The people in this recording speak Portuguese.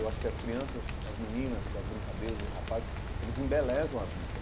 Eu acho que as crianças, as meninas com as brincadeiras, os rapazes, eles embelezam a vida.